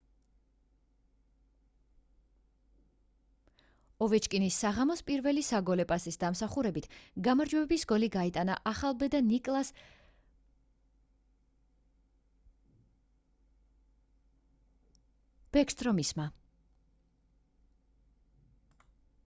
ოვეჩკინის საღამოს პირველი საგოლე პასის დამსახურებით გამარჯვების გოლი გაიტანა ახალბედა ნიკლას ბეკსტრომისმა